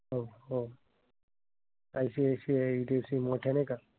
हो. ICICIHDFC मोठ्या नाही का.